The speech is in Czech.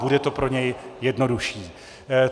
Bude to pro něj jednodušší.